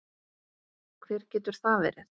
Hver getur það verið?